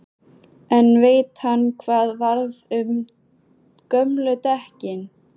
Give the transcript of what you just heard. En veit hann hvað varð um gömlu dekkin?